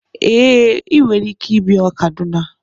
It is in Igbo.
Ee, ị nwere ike ịbịa Kaduna